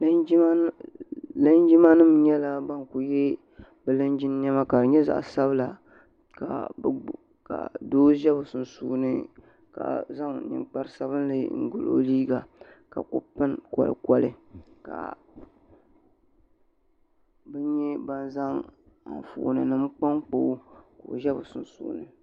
Linjima nyɛla ban ku yɛ linjin niɛma ka di nyɛ zaɣa sabila ka doo ʒɛ bi sunsuuni ka zaŋ ninkpara sabinli n goli o liiga ka ku pini kolikoli ka bi nyɛ ban zaŋ anfooni nim kpa n kpa o ka o ʒɛ bi sunsuuni.